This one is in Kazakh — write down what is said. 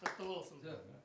құтты болсын